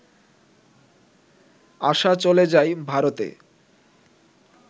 আশা চলে যায় ভারতে